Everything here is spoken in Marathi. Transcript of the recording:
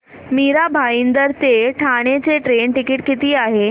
मीरा भाईंदर ते ठाणे चे ट्रेन टिकिट किती आहे